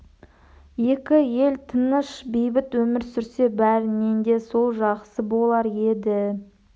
екі ел тыныш бейбіт өмір сүрсе бәрінен де сол жақсы болар еді